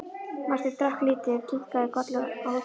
Marteinn drakk lítið og kinkaði kolli óþolinmóður.